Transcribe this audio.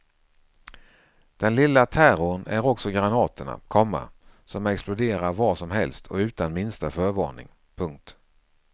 Den lilla terrorn är också granaterna, komma som exploderar var som helst och utan minsta förvarning. punkt